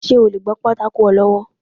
se o le gba pàtàkó olọwọ?